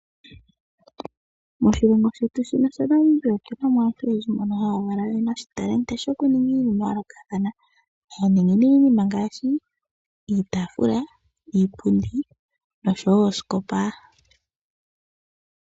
Moshilongo shetu shino sha Namibia otuna mo aantu oyendji mbono haya valwa noshitalenti shokuninga iinima ya yoolokathana. Ohaya ningi nee iinima ngaashi iitaafula, iipundi noshowo oosikopa.